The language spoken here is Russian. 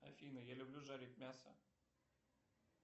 афина я люблю жарить мясо